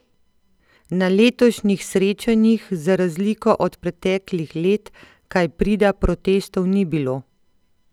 Na letošnjih srečanjih za razliko od preteklih let kaj prida protestov ni bilo.